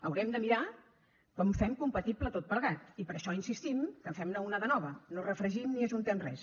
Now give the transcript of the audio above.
haurem de mirar com fem compatible tot plegat i per això insistim que en fem una de nova no refregim ni ajuntem res